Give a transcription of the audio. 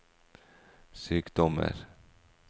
sykdommer